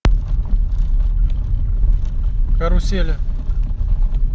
карусели